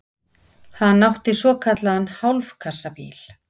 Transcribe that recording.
Hann átti svokallaðan hálfkassabíl.